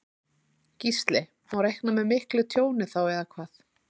Gísli: Má reikna með miklu tjóni þá eða hvað?